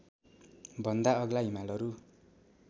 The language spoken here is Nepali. भन्दा अग्ला हिमालहरू